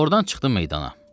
Ordan çıxdım meydana.